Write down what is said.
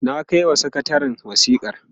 na kaiwa sakatarin wasikar